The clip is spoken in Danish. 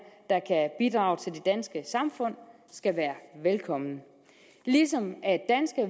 der kan bidrage til det danske samfund skal være velkommen ligesom